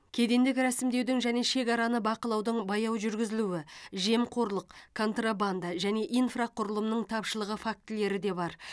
кедендік рәсімдеудің және шекараны бақылаудың баяу жүргізілуі жемқорлық контрабанда және инфрақұрылымның тапшылығы фактілері де бар